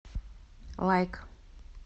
лайк